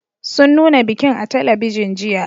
Sun nuna bikin a talabijin, jiya.